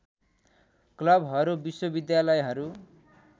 क्लबहरू विश्वविद्यालयहरू